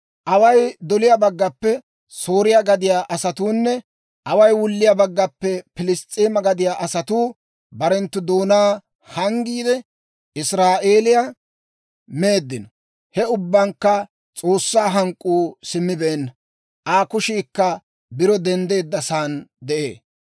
Away doliyaa baggaappe Sooriyaa gadiyaa asatuunne away wulliyaa baggaappe Piliss's'eema gadiyaa asatuu barenttu doonaa hanggiide, Israa'eeliyaa meeddino. He ubbankka S'oossaa hank'k'uu simmibeenna; Aa kushiikka biro denddeeddasaan de'ee.